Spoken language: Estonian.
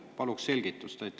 Paluks selgitust!